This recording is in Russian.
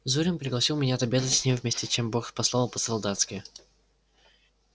зурин пригласил меня отобедать с ним вместе чем бог послал по солдатски